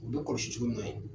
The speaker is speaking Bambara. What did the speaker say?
U bɛ kɔlɔsi cogo min na yen